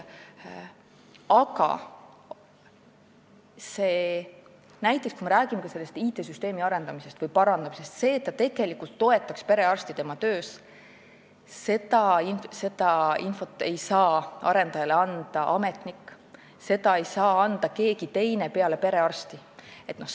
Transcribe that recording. Aga kui me räägime IT-süsteemi arendamisest või parandamisest, siis seda infot, mis on vajalik, et süsteem tegelikult toetaks perearsti tema töös, ei saa arendajale anda ametnik, seda ei saa anda keegi teine peale perearsti.